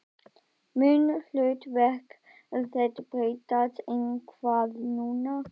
Mun hlutverk þitt breytast eitthvað núna?